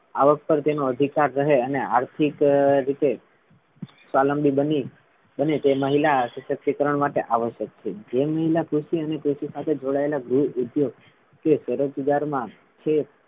આવક પર તેનો અધિકાર રહે અને આર્થિક રીતે સ્વાવલંબી બની બને તે મહિલા સશક્તિકરણ માટે આવશ્યક છે જેમ મહિલા કૃષિ અને કૃષિ સાથે જોડાયેલા ગૃહ ઉદ્યોગ કે કરજદારમાં છે,